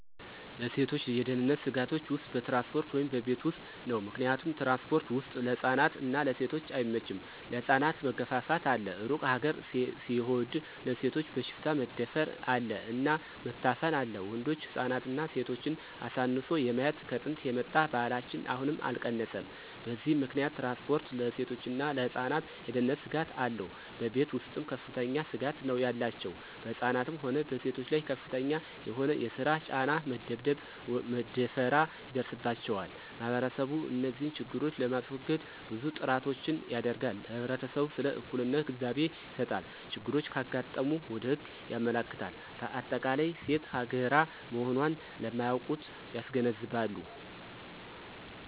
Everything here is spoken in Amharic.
ለሴቶች የደህንነት ስጋቶች ውስጥ በትራንስፖርት ወይም በቤት ውስጥ ነው። ምክንያቱም ትራንስፖርት ወስጥ ለህፃናት እና ለሴቶች አይመቸም ለህፃናት መገፍፍት አለ እሩቅ ሀገር ሲሆድ ለሴቶች በሽፍታ መደፍር አለ እና መታፈን አለ ወንዶች ህፃናትና ሴቶችን አሳንሶ የማየት ከጥንት የመጣ ባህላችን አሁንም አልቀነሰም በዚህ ምከንያት ትራንስፖርት ለሴቶችና ለህፃናት የደህነንት ስጋት አለው። በቤተ ውስጥም ከፍተኛ ስጋት ነው ያላቸው በህፃናትም ሆነ በሴቶች ላይ ከፍተኛ የሆነ የሰራ ጫና፣ መደብደብ፣ መደፈራ ይደርስባቸዋል። ማህበረሰቡ እንዚህን ችግሮች ለማሰወገድ ብዙ ጥራቶችን ያደረጋል ለህብረተሰቡ ስለ እኩልነት ግንዛቤ ይሰጣል፣ ችግሮች ካጋጠሙ ወደ ህግ ያመለክታል በአጠቃላይ ሴት ሀገራ መሆኖን ለማያውቁት ያስገነዝባሉ።